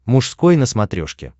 мужской на смотрешке